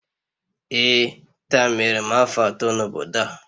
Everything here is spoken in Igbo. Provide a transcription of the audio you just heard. Ee, taa mere m afọ atọ n'obodo a